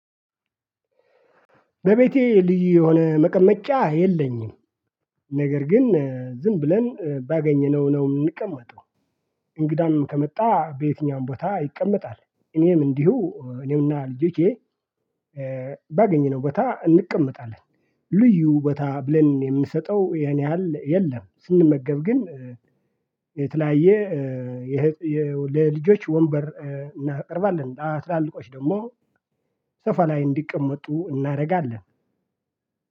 በቤቴ ልዩ የሆነ መቀመጫ የለኝም። ነገር ግን ዝም ብለን ባገኘነው ነው የምንቀመጠው። እንግዳም ከመጣ በየትኛውም ቦታ ይቀመጣል። እኔም እንዲሁ እኔም እና ልጄ ባገኘነው ቦታ እንቀመጣለን። ልዩ ቦታ ብለን የምንሰጠው ያን ያህል የለም ስንመገብ ግን የተለያየ የልጆች ወንበር እናቀርባለን። ትላልቆች ደግሞ ሶፋ ላይ እንዲቀመጡ እናደርጋለን